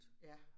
Ja